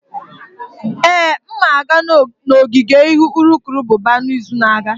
Ee, m ga-aga n'ogige ịhụ urukurubụba n'izu na-abịa.